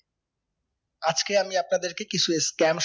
আজকে আমি আপনাদের কে কিছু scam